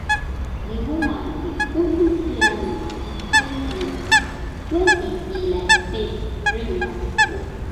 di woman dey only plany when e when e be like say rain wan fall